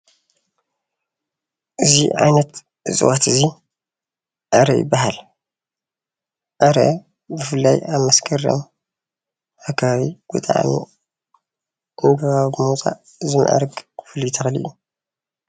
አዚ ዓይነት እፅዋት እዚ ዕረ ይባሃል፡፡ ዕረ ብፍላይ ኣብ መስከረም ኣከባቢ ብጣዕሚ ዕንበባ ብምውፃእ ዝምዕርግ ፍሉይ ተክሊ እዩ፡፡